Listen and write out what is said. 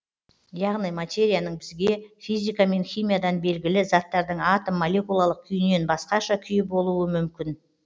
яғни материяның бізге физика мен химиядан белгілі заттардың атом молекулалық күйінен басқаша күйі болуы мүмкін